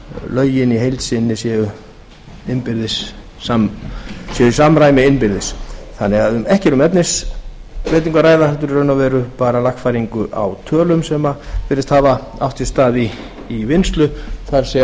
lögin í heild sinni séu í samræmi innbyrðis ekki er því um efnisbreytingu að ræða heldur í raun og veru bara lagfæringu á tölum sem virðist hafa átt sér stað í vinnslu það